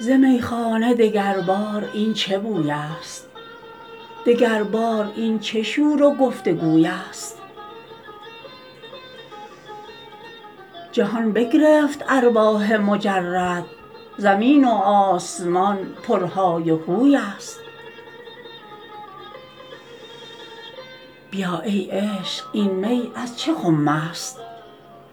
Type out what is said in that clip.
ز میخانه دگربار این چه بویست دگربار این چه شور و گفت و گویست جهان بگرفت ارواح مجرد زمین و آسمان پرهای و هوی ست بیا ای عشق این می از چه خمست